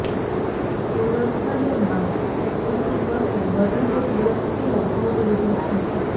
સુરત શહેરમાં સિટી બસે વધુ એક વ્યક્તિનો ભોગ લીધો છે